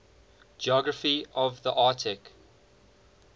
geography of the arctic